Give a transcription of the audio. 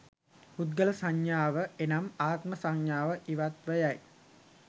පුද්ගල සංඥාව එනම් ආත්ම සංඥාව ඉවත්ව යයි.